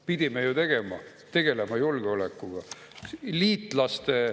Pidime ju tegelema julgeolekuga.